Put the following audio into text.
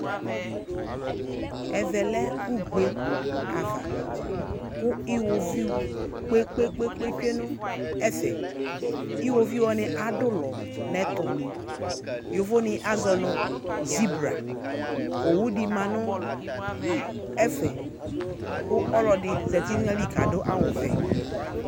ɛvɛ lɛ ugbe ava kò iwoviu kpe kpe kpe tsue no ɛfɛ iwoviu wani adu ulɔ n'ɛto yovo ni azɔ no zibra owu di ma no ɛfɛ kò ɔlo ɛdi zati n'ayili k'adu awu vɛ